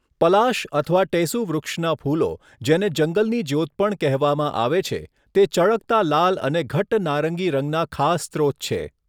પલાશ અથવા ટેસુ વૃક્ષનાં ફૂલો, જેને જંગલની જ્યોત પણ કહેવામાં આવે છે, તે ચળકતા લાલ અને ઘટ્ટ નારંગી રંગના ખાસ સ્રોત છે.